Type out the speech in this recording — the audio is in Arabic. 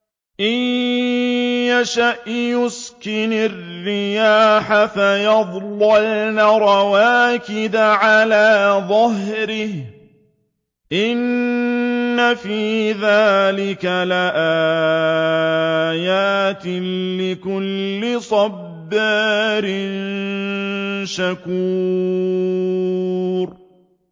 إِن يَشَأْ يُسْكِنِ الرِّيحَ فَيَظْلَلْنَ رَوَاكِدَ عَلَىٰ ظَهْرِهِ ۚ إِنَّ فِي ذَٰلِكَ لَآيَاتٍ لِّكُلِّ صَبَّارٍ شَكُورٍ